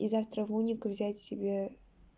и завтра в университет взять себе